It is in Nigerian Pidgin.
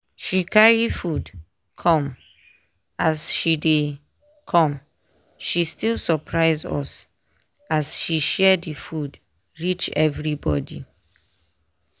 she carry food come as she dey come still surpise us as she share the food reach everybody.